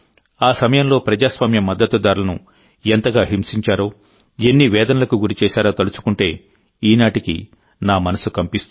ఆ సమయంలో ప్రజాస్వామ్య మద్దతుదారులను ఎంతగా హింసించారో ఎన్ని వేదనలకు గురిచేశారో తలుచుకుంటే ఈనాటికీ నా మనసు కంపిస్తుంది